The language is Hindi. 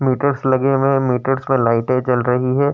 मीटर्स लगे हुए हैं। मीटर्स मे लाइटें जल रही है।